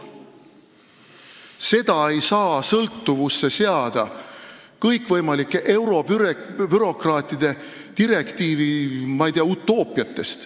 Seda ei saa seada sõltuvusse kõikvõimalikest eurobürokraatide direktiiviutoopiatest.